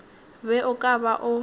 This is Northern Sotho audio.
be o ka ba o